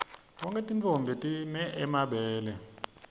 tonkhe tintfombi time mabele